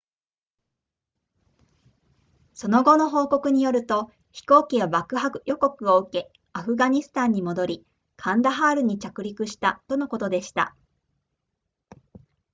その後の報告によると飛行機は爆破予告を受けアフガニスタンに戻りカンダハールに着陸したとのことでした